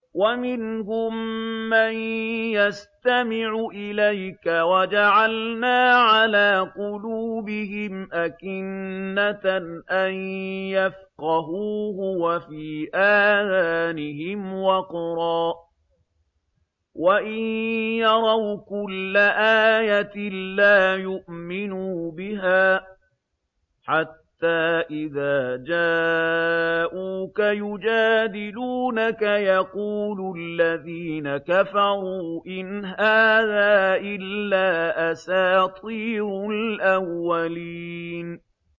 وَمِنْهُم مَّن يَسْتَمِعُ إِلَيْكَ ۖ وَجَعَلْنَا عَلَىٰ قُلُوبِهِمْ أَكِنَّةً أَن يَفْقَهُوهُ وَفِي آذَانِهِمْ وَقْرًا ۚ وَإِن يَرَوْا كُلَّ آيَةٍ لَّا يُؤْمِنُوا بِهَا ۚ حَتَّىٰ إِذَا جَاءُوكَ يُجَادِلُونَكَ يَقُولُ الَّذِينَ كَفَرُوا إِنْ هَٰذَا إِلَّا أَسَاطِيرُ الْأَوَّلِينَ